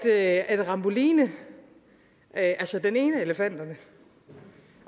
er at ramboline altså den ene af elefanterne